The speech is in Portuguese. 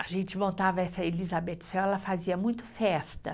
A gente montava essa Elizabeth Swell, ela fazia muito festa.